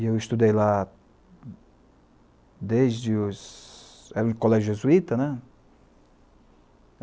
E eu estudei lá desde os... era um colégio jesuíta, né?